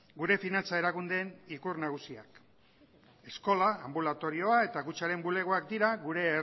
gure finantza erakundeen ikur nagusiak eskola anbulatorioa eta kutxaren bulegoak dira gure